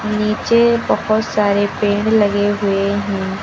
नीचे बहोत सारे पेड़ लगे हुए है।